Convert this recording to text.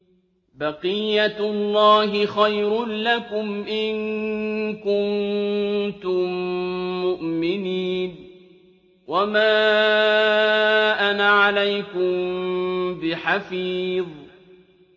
بَقِيَّتُ اللَّهِ خَيْرٌ لَّكُمْ إِن كُنتُم مُّؤْمِنِينَ ۚ وَمَا أَنَا عَلَيْكُم بِحَفِيظٍ